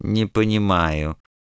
не понимаю